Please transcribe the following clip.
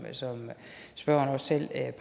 spørgeren også selv